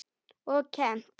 Og kennt.